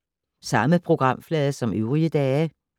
Samme programflade som øvrige dage